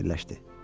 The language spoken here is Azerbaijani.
fikirləşdi.